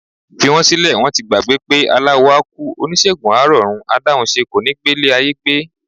Fi wọ́n sílẹ̀, wọ́n ti gbàgbé pé aláwo á kú, oníṣègùn á rọ̀run, adáhunṣe kò ní gbélé ayé gbé.